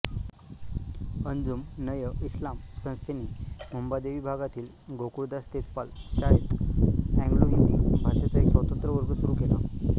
अंजुमनएइस्लाम संस्थेने मुंबादेवी भागातील गोकुळदास तेजपाल शाळेत एंग्लोहिंदी भाषेचा एक स्वतंत्र वर्ग सुरू केला